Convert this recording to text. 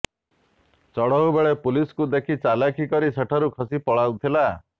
ଚଢ଼ଉ ବେଳେ ପୁଲିସକୁ ଦେଖି ଚାଲାଖି କରି ସେଠାରୁ ଖସି ପଳାଉଥିଲା